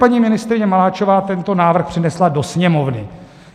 Paní ministryně Maláčová tento návrh přinesla do Sněmovny.